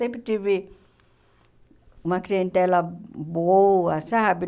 Sempre tive uma clientela boa, sabe?